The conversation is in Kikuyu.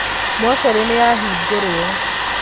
Mocarĩnĩyahingũrwo.